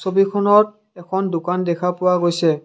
ছবিখনত এখন দোকান দেখা পোৱা গৈছে।